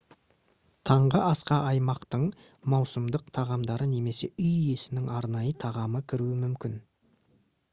таңғы асқа аймақтың маусымдық тағамдары немесе үй иесінің арнайы тағамы кіруі мүмкін